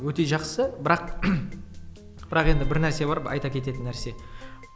өте жақсы бірақ бірақ енді бір нәрсе бар айта кететін нәрсе